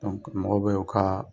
mɔgɔ bɛ u ka